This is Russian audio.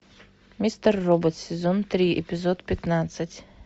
мистер робот сезон три эпизод пятнадцать